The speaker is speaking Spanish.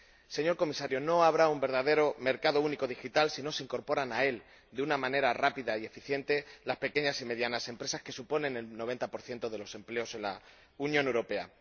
Señor Comisario, no habrá un verdadero mercado único digital si no se incorporan a él de una manera rápida y eficiente las pequeñas y medianas empresas, que suponen el 90 de los empleos en la Unión Europea.